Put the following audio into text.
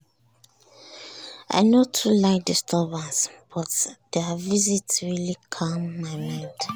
na surprise visit sha but we just continue from where we stop before.